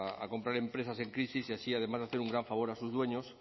a comprar empresas en crisis y así además de hacer un gran favor a sus dueños